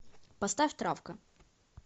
поставь травка